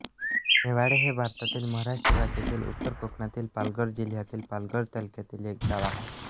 नेवाळे हे भारतातील महाराष्ट्र राज्यातील उत्तर कोकणातील पालघर जिल्ह्यातील पालघर तालुक्यातील एक गाव आहे